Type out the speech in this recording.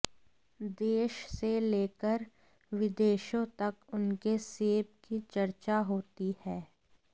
देश से लेकर विदेशों तक उनके सेब की चर्चा होती है